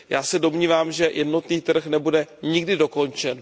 Já se domnívám, že jednotný trh nebude nikdy dokončen.